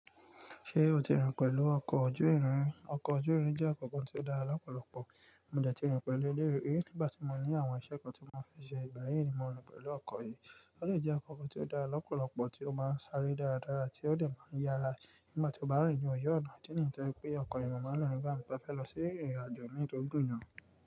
Ṣé o ti rìn pẹ̀lú ọkọ̀ ojú irin? Oko ojú rín jé nkan to tún dé lópòlópò mo dé ti rìn pèlé e lé ri nígbà tí mo ní àwon isé kan tí mo fé se. Ìgbà yíì ni mo rìn pẹ̀lú ọkọ̀ yìí. Ó de jẹ́ nkànkàn tí ó dára lọ́pọ̀lọpọ̀ tí ó máa ń sáré dáradára tí ó lè máa ń yára nígbà tí ó bá rìn ní oju ọ̀nà. Tẹ́ẹ̀ní tẹ́ ẹ pé ọkọ̀ yìí máa ń lọ̀rí nígbà tí mo fẹ́ lọ sí ìrìnàjò nítorí gbìyànjú.